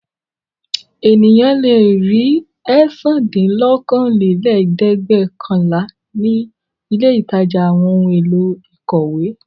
Ènìyàn le ri ẹ̀sándínlókòólẹ́ẹ̀dẹ́gbẹ́ọ̀kànlá ní ilé-ìtajà àwọn ohun-èlò ìkọ̀wé.